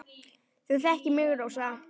Þú þekkir mig, Rósa.